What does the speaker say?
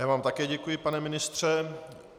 Já vám také děkuji, pane ministře.